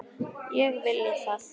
Ég vilji það?